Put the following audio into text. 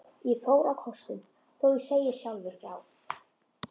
Ég fór á kostum, þó ég segi sjálfur frá.